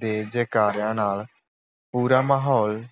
ਦੇ ਜੈਕਾਰਿਆਂ ਨਾਲ ਪੂਰਾ ਮਾਹੌਲ